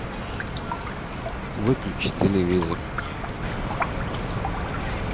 выключи телевизор